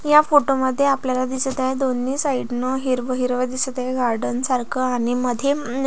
या फोटो मध्ये आपल्याला दिसत आहे दोन्ही साइड ला हिरव हिरव दिसत आहे गार्डन सारख आणि मध्ये--